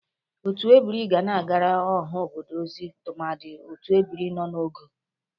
Otu ebiri ga na-agara ọha obodo ozi tụmadị otu ebiri nọ n'ogo.